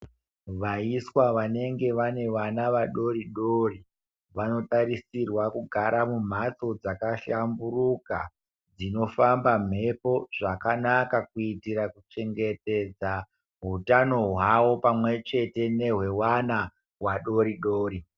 Vaiswa vanenge vane vana vadoridori, vanotarisirwa kugara mumhatso dzakahlamburuka dzinofamba mhepo zvakanaka kuitira kuchengetedza hutano hwawo pamwechete nehwewana wadoridori.